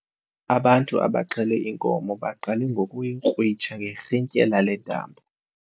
Ubantu abaxhele inkomo baqale ngokuyikrwitsha ngerhintyela lentambo.